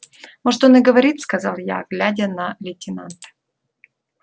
может он и говорит сказал я глядя на лейтенанта